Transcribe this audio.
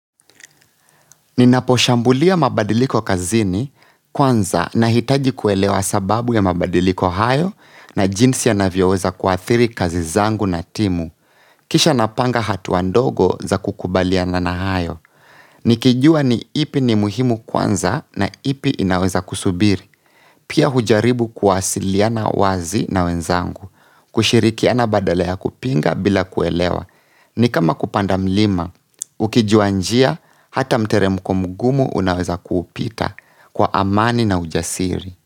Ninaposhambulia mabadiliko kazini kwanza nahitaji kuelewa sababu ya mabadiliko hayo na jinsi yanavyoweza kuathiri kazi zangu na timu. Kisha napanga hatua ndogo za kukubaliana na hayo. Nikijua ni ipi ni muhimu kwanza na ipi inaweza kusubiri. Pia hujaribu kuwasiliana wazi na wenzangu. Kushirikiana badala ya kupinga bila kuelewa ni kama kupanda mlima, ukijua njia hata mteremko mgumu unaweza kuupita kwa amani na ujasiri.